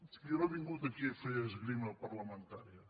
jo no he vingut aquí a fer esgrima parlamentària